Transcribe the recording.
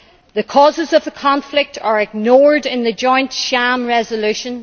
The causes of the conflict are ignored in this joint sham resolution.